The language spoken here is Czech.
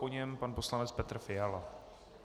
Po něm pan poslanec Petr Fiala.